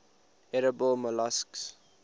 edible molluscs